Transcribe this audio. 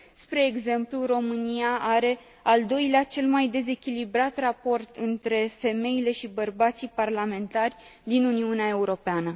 Spre exemplu, România are al doilea cel mai dezechilibrat raport între femeile și bărbații parlamentari din Uniunea Europeană.